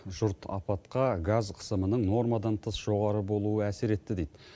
жұрт апатқа газ қысымының нормадан тыс жоғары болуы әсер етті дейді